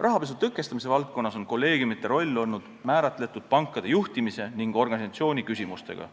Rahapesu tõkestamise valdkonnas on kolleegiumide roll olnud määratletud pankade juhtimise ning organisatsiooni küsimustega,